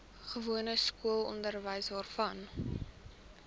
gewone skoolonderwys waarvan